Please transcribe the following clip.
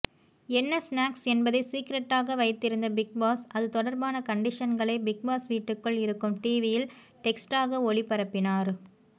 என்ன ஸ்னாக்ஸ் என்பதை சீக்ரெட்டாக வைத்திருந்த பிக்பாஸ் அது தொடர்பான கண்டிஷன்களை பிக்பாஸ் வீட்டுக்குள் இருக்கும் டிவியில் டெக்ஸ்ட்டாக ஒளிபரப்பினார்